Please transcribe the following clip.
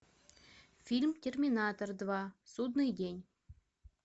фильм терминатор два судный день